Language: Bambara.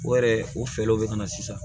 O yɛrɛ o fɛɛrɛw bɛ ka na sisan